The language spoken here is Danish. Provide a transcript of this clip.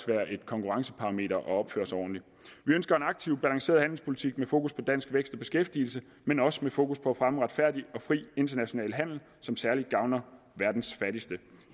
være et konkurrenceparameter at opføre sig ordentligt vi ønsker en aktiv balanceret handelspolitik med fokus på dansk vækst og beskæftigelse men også med fokus på at fremme en retfærdig og fri international handel som særlig gavner verdens fattigste